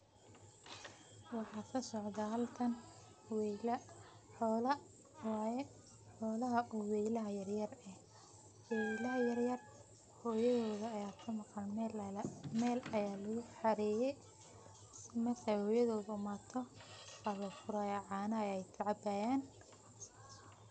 Waxa kasocdo halkan weyla, xoola waye xolaha o weylaha yaryar eh, weylaha yaryar hoyadhod aya kamaqan mel aya luguhareye marka ay hoyadhod imado ba lofuraya cana ayay kacabayan.